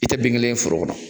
I tɛ dengelen ye foro kɔnɔ.